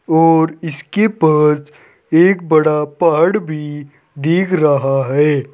और इसके पास एक बड़ा पहाड़ भी दिख रहा है।